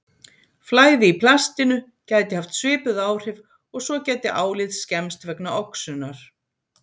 Flæði í plastinu gæti haft svipuð áhrif og svo gæti álið skemmst vegna oxunar.